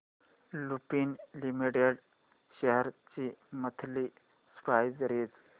Lupin limited shares ची monthly price range